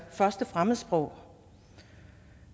første fremmedsprog